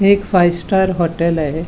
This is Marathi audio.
हे एक फाय्व्हस्टार हाॅटेल आहे.